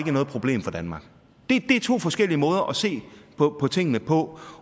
er noget problem for danmark det er to forskellige måder at se på tingene på